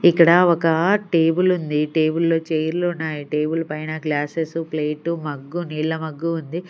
ఇక్కడ ఒక టేబుల్ ఉంది టేబుల్ లో చైర్లు ఉన్నాయి టేబుల్ పైన గ్లాసెస్ ప్లేటు మగ్గు నీళ్ల మగ్గు ఉంది.